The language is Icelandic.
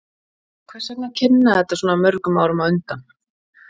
Hvers vegna að kynna þetta svona mörgum árum á undan?